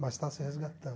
Mas está se resgatando.